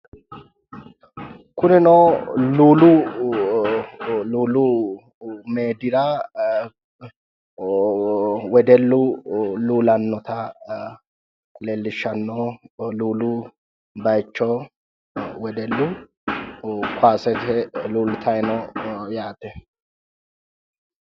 Kunino luulu meedira wedellu luulanota leelishano luulu bayicho wedellu kowaasete luulitayi no yaate